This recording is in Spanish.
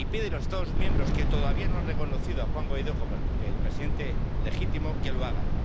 Y pide a los Estados miembros que todavía no han reconocido a Juan Guaidó como el presidente legítimo que lo hagan.